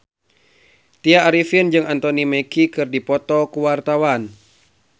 Tya Arifin jeung Anthony Mackie keur dipoto ku wartawan